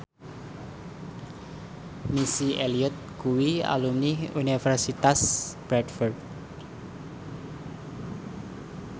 Missy Elliott kuwi alumni Universitas Bradford